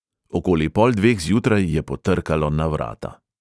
Okoli pol dveh zjutraj je potrkalo na vrata.